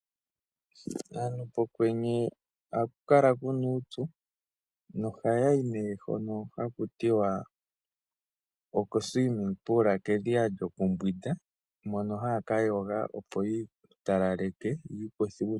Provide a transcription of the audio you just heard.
Aantu pokwenye ohaku kala kuna uupyu nohaya yi nee hono haku tiwa okedhiya lyokuyoga. Mono haya ka yoga opo yi italaleke yi ikuthe uupyu.